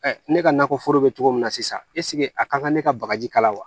ne ka nakɔ foro be cogo min na sisan a kan ka ne ka bagaji kala wa